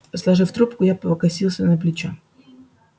сложив трубку я покосился на плечо